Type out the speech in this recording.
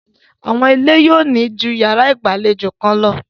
Àwọn ilé yóò ní ju yàrá ìgbàlejò kan lọ.